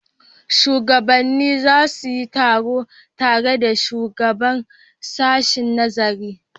Shugabannin za su yi taro tare da shugaban sashen nazarin.